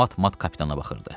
Hamı mat-mat kapitana baxırdı.